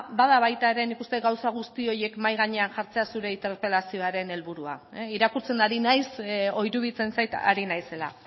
bada baita ere nik uste dut gauza guzti horiek mahai gainean jartzea zure interpelazioaren helburua irakurtzen ari naiz edo iruditzen zait ari naizela